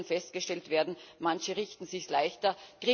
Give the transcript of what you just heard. Auch hier kann festgestellt werden Manche machen es sich leichter.